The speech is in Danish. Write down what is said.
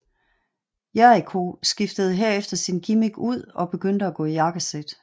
Jericho skiftede herefter sin gimmick ud og begyndte at gå i jakkesæt